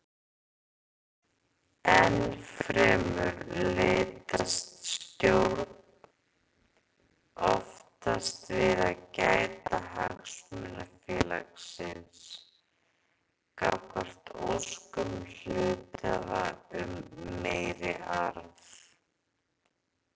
Ennfremur leitast stjórn oftast við að gæta hagsmuna félagsins gagnvart óskum hluthafa um meiri arð.